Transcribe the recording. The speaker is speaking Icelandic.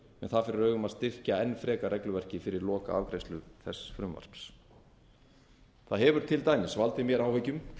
það fyrir augum að styrkja enn frekar regluverki fyrir lokaafgreiðslu þess frumvarps það hefur til dæmis valdið mér áhyggjum hve